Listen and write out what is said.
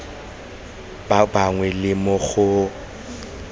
ba bangwe le mo go